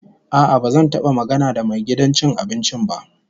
A'a, ba zan taba magana da mai gidan cin abincin ba.